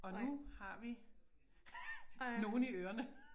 Og nu har vi nogle i ørerne